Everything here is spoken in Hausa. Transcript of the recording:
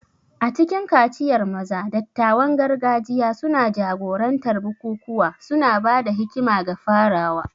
A cikin kaciyar maza, dattawan gargajiya suna jagorantar bukukuwa, suna ba da hikima ga farawa.